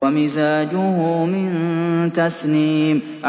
وَمِزَاجُهُ مِن تَسْنِيمٍ